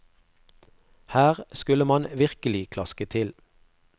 Her skulle man virkelig klaske til.